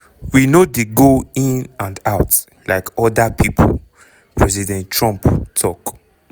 we no dey go in and out like oda pipo" president trump tok.